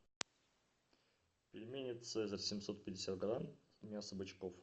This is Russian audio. пельмени цезарь семьсот пятьдесят грамм мясо бычков